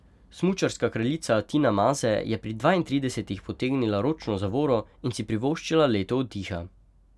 Smučarska kraljica Tina Maze je pri dvaintridesetih potegnila ročno zavoro in si privoščila leto oddiha.